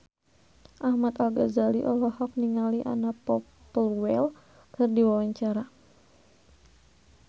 Ahmad Al-Ghazali olohok ningali Anna Popplewell keur diwawancara